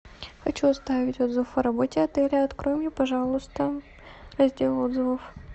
хочу оставить отзыв о работе отеля открой мне пожалуйста раздел отзывов